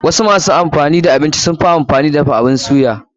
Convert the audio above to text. Wasu masu dafa abinci sunfi amfani da abun suya.